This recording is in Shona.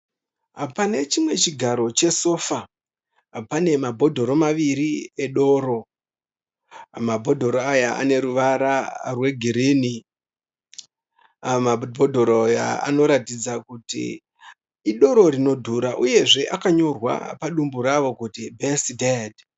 Pane chimwe chigaro che sofa, pane mabhotoro maviri edoro . Mabhotoro aya ane ruvara rwe green . Mabhotoro aya anoratidza Kuti idoro rinodhura uyezve akanyorwa padumbu rawo kuti S Dad.